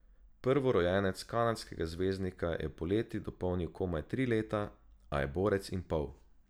Prvorojenec kanadskega zvezdnika je poleti dopolnil komaj tri leta, a je borec in pol.